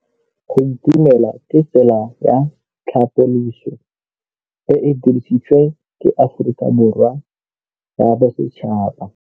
Go itumela ke tsela ya tlhapolisô e e dirisitsweng ke Aforika Borwa ya Bosetšhaba.